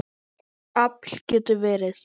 Afl getur verið